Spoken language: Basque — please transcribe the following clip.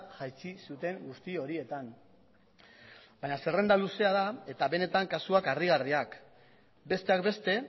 jaitsi zuten guzti horietan baina zerrenda luzea da eta benetan kasuak harrigarriak besteak beste